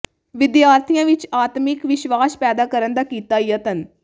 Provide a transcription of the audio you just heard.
ਵਿਦਿਆਰਥੀਆਂ ਵਿਚ ਆਤਮਿਕ ਵਿਸ਼ਵਾਸ ਪੈਦਾ ਕਰਨ ਦਾ ਕੀਤਾ ਯਤਨ